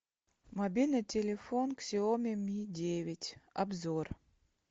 мобильный телефон ксяоми ми девять обзор